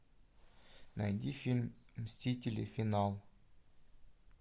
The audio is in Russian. найди фильм мстители финал